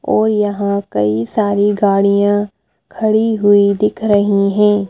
और यहां कई सारी गाड़ियां खड़ी हुई दिख रही हैं।